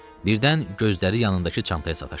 Birdən gözləri yanındakı çantaya sataşdı.